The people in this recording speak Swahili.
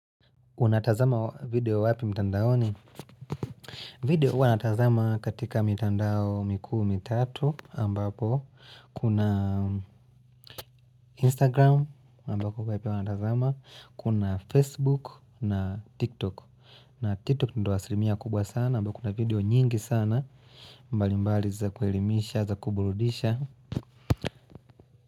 Unatazama video wapi mitandaoni? Video huwa natazama katika mitandao mikuu mitatu ambapo Kuna Instagram ambapo kuna yale wanatazama Kuna Facebook na TikTok na TikTok ndio asirimia kubwa sana ambapo kuna video nyingi sana mbali mbali za kuherimisha za kuburudisha.